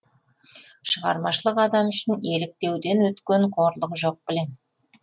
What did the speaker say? шығармашылық адамы үшін еліктеуден өткен қорлық жоқ білем